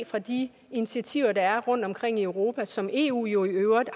fra de initiativer der er taget rundtomkring i europa som eu jo i øvrigt